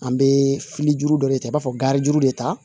An bɛ fili juru dɔ de ta i b'a fɔ garijuru de ta